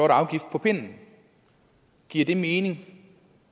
afgift på pinden giver det mening